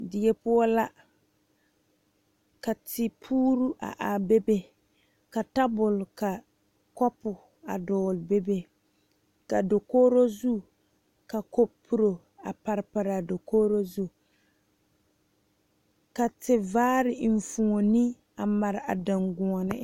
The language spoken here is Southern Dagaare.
Die poɔ la ka tepure a are bebe ka tabol ka kopu dogle bebe ka dakogro zu ka kaporo a pare pare a dakogro zu ka te vaare enfuune a pare a dagɔɔne.